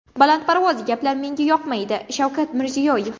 Balandparvoz gaplar menga yoqmaydi” Shavkat Mirziyoyev.